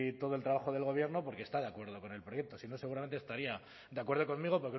todo el trabajo del gobierno porque está de acuerdo con el proyecto si no seguramente estaría de acuerdo conmigo